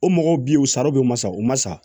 O mɔgɔw bɛ yen u sari bɛ ma sa u ma sa